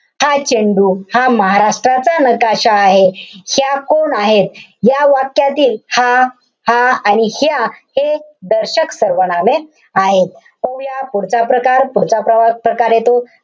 हा चेंडू, हा महाराष्ट्राचा नकाशा आहे. ह्या कोण आहेत? या वाक्यातील हा, हा, आणि ह्या हे दर्शक सर्वनामे आहेत. पाहूया पुढचा प्रकार. पुढचा प्रव~ प्रकार येतो,